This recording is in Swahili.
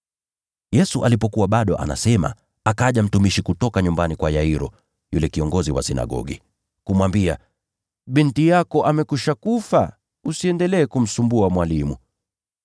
Yesu alipokuwa bado anasema, akaja mtumishi kutoka nyumbani kwa Yairo, yule kiongozi wa sinagogi, kumwambia, “Binti yako amekwisha kufa. Usiendelee kumsumbua Mwalimu.”